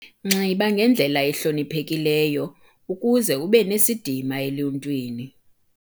Nxiba ngendlela ehloniphekileyo ukuze ube nesidima eluntwini.